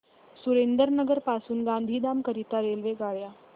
सुरेंद्रनगर पासून गांधीधाम करीता रेल्वेगाड्या